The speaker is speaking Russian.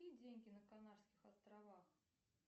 какие деньги на канарских островах